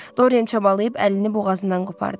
Dorian çabalayıb əlini boğazından qopardı.